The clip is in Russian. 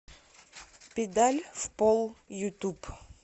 педаль в пол ютуб